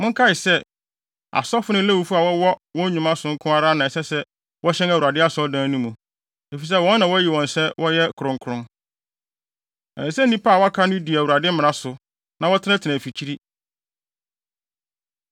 Monkae sɛ, asɔfo ne Lewifo a wɔwɔ wɔn nnwuma so nko ara na ɛsɛ sɛ wɔhyɛn Awurade Asɔredan no mu, efisɛ wɔn na wɔayi wɔn asi hɔ sɛ wɔyɛ kronkron. Ɛsɛ sɛ nnipa a wɔaka no di Awurade mmara so, na wɔtenatena afikyiri.